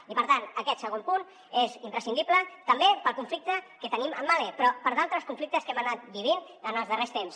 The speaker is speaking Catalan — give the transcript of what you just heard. i per tant aquest segon punt és imprescindible també pel conflicte que tenim amb mahle però per d’altres conflictes que hem anat vivint en els darrers temps